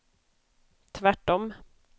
tvärtom